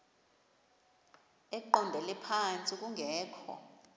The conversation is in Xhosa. eqondele phantsi kungekho